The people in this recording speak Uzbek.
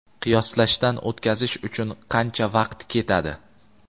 Qiyoslashdan o‘tkazish uchun qancha vaqt ketadi?.